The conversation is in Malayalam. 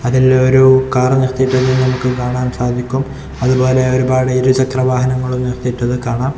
അതിലൊരു കാറ് നിർത്തിയിട്ടിരിക്കുന്നത് നമുക്ക് കാണാൻ സാധിക്കും അതുപോലെ ഒരുപാട് ഇരുചക്ര വാഹനങ്ങളും നിർത്തിയിട്ടത് കാണാം.